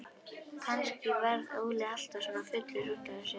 Kannski varð Óli alltaf svona fullur út af þessu.